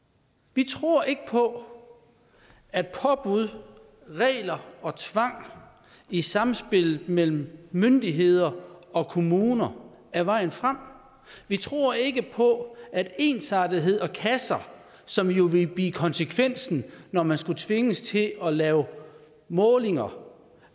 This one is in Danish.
vi tror ikke på at påbud regler og tvang i sammenspillet mellem myndigheder og kommuner er vejen frem vi tror ikke på at ensartethed og kasser som jo ville blive konsekvensen når man skulle tvinges til at lave målinger